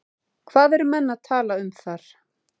Hvað eru menn að tala um þar?